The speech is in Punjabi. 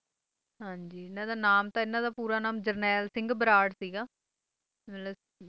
ਹਾਂ ਜੀ ਇਨ੍ਹਾਂ ਦਾ ਨਾਮ ਤਾਂ ਇਨ੍ਹਾਂ ਦਾ ਪੂਰਾ ਨਾਮ ਜਰਨੈਲ ਸਿੰਘ ਬਰਾੜ ਸੀਗਾ ਮਤਲਬ